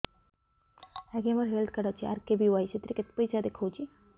ଆଜ୍ଞା ମୋର health card ଅଛି ଆର୍.କେ.ବି.ୱାଇ ସେଥିରେ କେତେ ପଇସା ଦେଖଉଛି